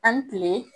An ni tile